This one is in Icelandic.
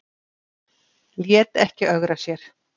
Lét ekki ögra sér